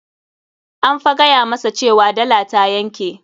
An fa gaya masa cewa dala ta yanke.